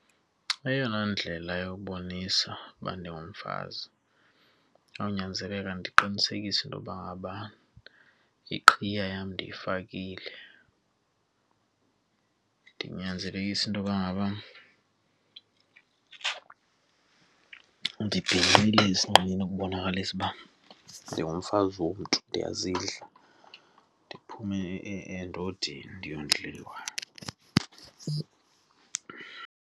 Eyona ndlela yokubonisa uba ndingumfazi kuyawunyanzeleka ndiqinisekise into yokuba ngaba iqhiya yam ndiyifakile. Ndinyanzelise intoba ngaba ndibhinqile esinqeni ukubonakalisa uba ndingumfazi womntu ndiyazidla, ndiphuma endodeni, ndiyondliwa.